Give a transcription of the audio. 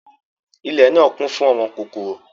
Ìlẹ náa kun fun àwọn kokoro.